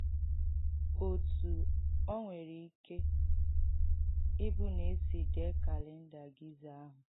Ọ̀tú ọ̀ nwèrē ìkẹ ìbụ̀ na e sí dèe kàlèndà Gìza àhụ̀: